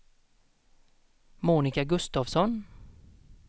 Monica Gustafsson